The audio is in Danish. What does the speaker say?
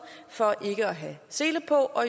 for ikke at have sele på og